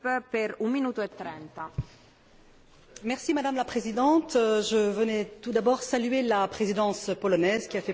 Madame la Présidente, je voudrais tout d'abord saluer la Présidence polonaise qui a fait preuve de dynamisme et de volontarisme.